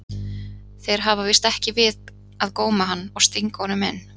Þeir hafa víst ekki við að góma hann og stinga honum inn.